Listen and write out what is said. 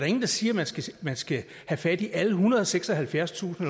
ingen der siger at man skal have fat i alle ethundrede og seksoghalvfjerdstusind